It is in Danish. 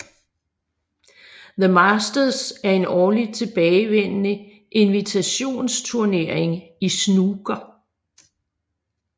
The Masters er en årligt tilbagevendende invitationsturnering i snooker